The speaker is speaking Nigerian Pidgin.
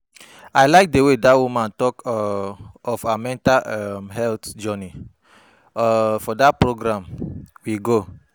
I like the way dat woman talk um of her mental um health journey um for dat program we go